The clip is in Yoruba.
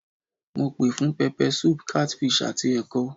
Mo pè fún pepper soup, catfish àti ẹ̀kọ.